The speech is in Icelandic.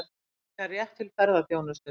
Sækja rétt til ferðaþjónustu